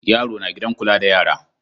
Yaro na gidan kula da yara.